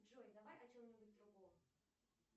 джой давай о чем нибудь другом